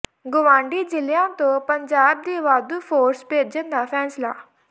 ਗੁਆਂਢੀ ਜ਼ਿਲਿ੍ਹਆਂ ਤੋਂ ਪੰਜਾਬ ਦੀ ਵਾਧੂ ਫੋਰਸ ਭੇਜਣ ਦਾ ਫ਼ੈਸਲਾ